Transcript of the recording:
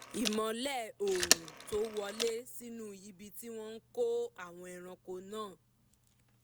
ìmọ́lẹ̀ oòrùn tó wọlé sínú ibi tí wọ́n kó àwọn ẹrànko náà